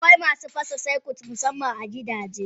Akwai masu fasa circuit Musaman a gidaje.